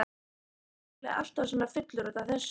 Kannski varð Óli alltaf svona fullur út af þessu.